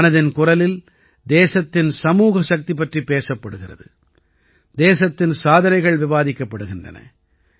மனதின் குரலில் தேசத்தின் சமூக சக்தி பற்றி பேசப்படுகிறது தேசத்தின் சாதனைகள் விவாதிக்கப்படுகின்றன